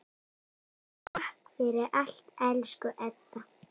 Takk fyrir allt, elsku Edda.